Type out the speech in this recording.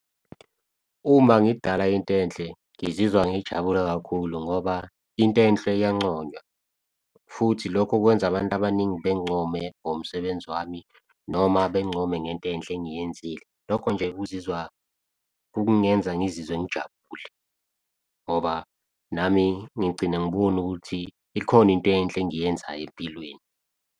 Uma ngidala into enhle ngizizwa ngijabule kakhulu ngoba into enhle iyancoywa. Futhi lokho kwenza abantu abaningi bengincome ngomsebenzi wami noma bengincome ngento enhle engiyenzile lokho nje, ukuzizwa kungenza ngizizwe ngijabule ngoba nami ngigcina ngibone ukuthi ikhona into enhle engiyenzayo empilweni.